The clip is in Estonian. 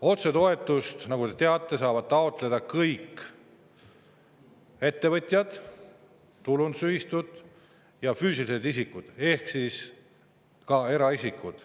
Otsetoetust, nagu te teate, saavad taotleda kõik ettevõtjad, tulundusühistud ja füüsilised isikud ehk ka eraisikud.